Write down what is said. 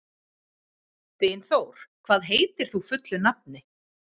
Dynþór, hvað heitir þú fullu nafni?